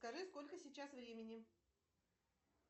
скажи сколько сейчас времени